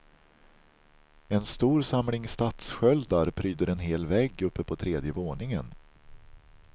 En stor samling stadssköldar pryder en hel vägg uppe på tredje våningen.